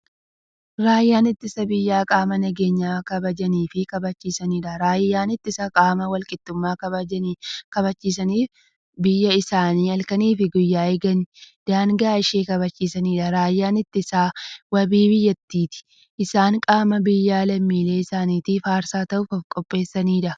Raayyaan ittisa biyyaa qaama nageenya biyya kabajaniifi kabachiisaniidha. Raayyaan ittisaa qaama walqixxummaa kabachisaniifi biyyaa isaanii halkaniif guyyaa eeganiifi daangaa ishee kabachiisaniidha. Raayyaan ittisaa waabii biyyaati. Isaan qaama biyyaafi lammiilee isaanitiif aarsaa ta'uuf ofqopheessaniidha.